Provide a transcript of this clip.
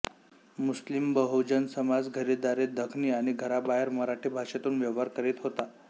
मुस्लिमबहुजन समाज घरीदारी दखनी आणि घराबाहेर मराठी भाषेतून व्यवहार करीत होता